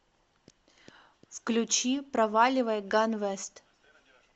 включи проваливай ганвест